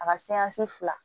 A ka fila